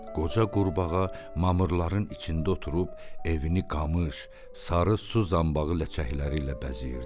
Qoca qurbağa mamırların içində oturub evini qamış, sarı suzanbağı ləçəkləri ilə bəzəyirdi.